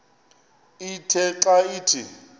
ithe xa ithi